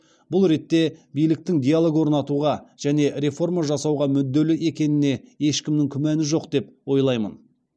бұл ретте биліктің диалог орнатуға және реформа жасауға мүдделі екеніне ешкімнің күмәні жоқ деп ойлаймын